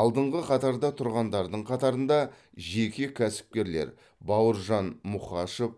алдыңғы қатарда тұрғандардың қатарында жеке кәсіпкерлер бауыржан мұқашев